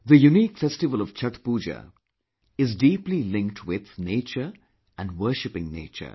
The unique festival Chhath Pooja is deeply linked with nature & worshiping nature